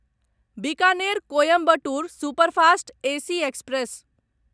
Bikaner Coimbatore superfast AC express